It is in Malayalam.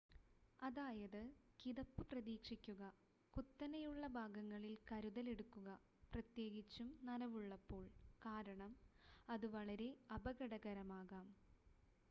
അതായത് കിതപ്പ് പ്രതീക്ഷിക്കുക കുത്തനെയുള്ള ഭാഗങ്ങളിൽ കരുതലെടുക്കുക പ്രത്യേകിച്ചും നനവുള്ളപ്പോൾ കാരണം അത് വളരെ അപകടകരമാകാം